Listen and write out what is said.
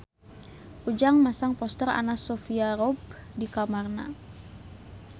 Ujang masang poster Anna Sophia Robb di kamarna